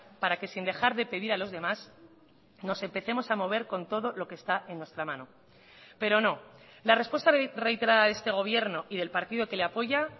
para que sin dejar de pedir a los demás nos empecemos a mover con todo lo que está en nuestra mano pero no la respuesta reiterada de este gobierno y del partido que le apoya